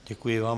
Děkuji vám.